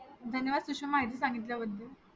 धन्यवाद सुषमा माहिती संगितल्याबद्ल